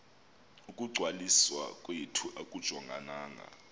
ukungcwaliswa kwethu akujongananga